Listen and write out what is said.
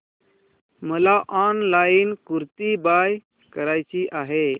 मला online kurti buy करायची आहे